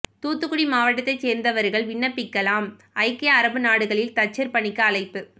தூத்துக்குடி மாவட்டத்தை சேர்ந்தவர்கள் விண்ணப்பிக்கலாம் ஐக்கிய அரபு நாடுகளில் தச்சர் பணிக்கு அழைப்பு